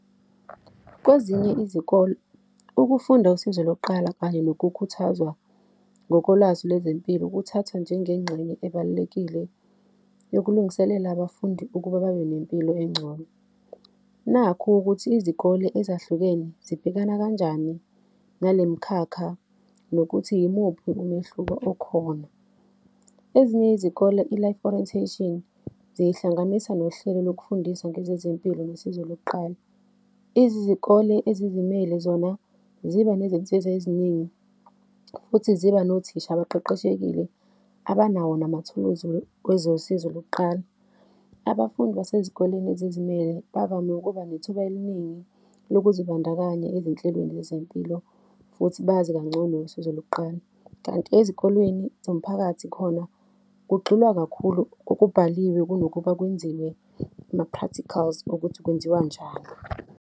Kwezinye izikole, ukufunda usizo lokuqala kanye nokukhuthazwa ngokolwazi lwezempilo, kuthathwa njengengxenye ebalulekile yokulungiselela abafundi ukuba babe nempilo engcono. Nakhu ukuthi izikole ezahlukene zibhekana kanjani nalemkhakha nokuthi yimuphi umehluko okhona? Ezinye izikole, i-Life Orientation, ziyihlanganisa nohlelo lokufundisa ngezezempilo nosizo lokuqala. Izizikole ezizimele, zona ziba nezinsiza eziningi, futhi ziba nothisha abaqeqeshekile abanawo namathuluzi wezosizo lokuqala. Abafundi besezikoleni ezizimele bavame ukuba nethuba eliningi lokuzibandakanya ezinhlelweni zempilo, futhi bazi kangcono ngosizo lokuqala. Kanti ezikolweni zomphakathi khona kugxilwa kakhulu okubhaliwe kunokuba kwenziwe ama-practicals okuthi kwenziwa njani.